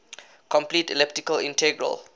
complete elliptic integral